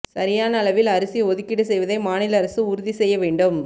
சரியான அளவில் அரிசி ஒதுக்கீடு செய்வதை மாநில அரசு உறுதி செய்ய வேண்டும்